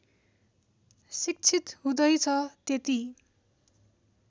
शिक्षित हुँदैछ त्यति